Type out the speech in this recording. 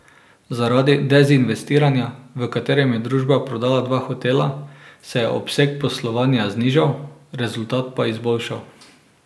Zaradi dezinvestiranja, v katerem je družba prodala dva hotela, se je obseg poslovanja znižal, rezultat pa izboljšal.